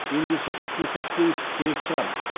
ендеше іске сәт деу керек шығар